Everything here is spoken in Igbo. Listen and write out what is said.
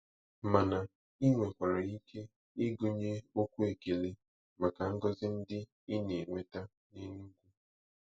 Mana ị nwekwara ike ịgụnye okwu ekele maka ngọzi ndị ị na-enweta n'Enugu.